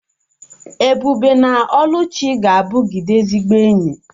Ebube na Oluchi ga-abụgide ezigbo enyi